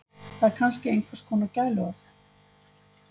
Það er kannski einhvers kona gæluorð.